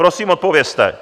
Prosím, odpovězte!